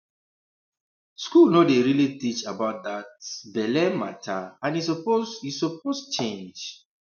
school no dey really teach about that um belle matter and e suppose e suppose change